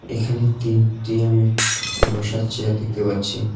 এখানে তিনটে আমি বসার চেয়ার দেখতে পাচ্ছি।